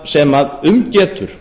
sem um getur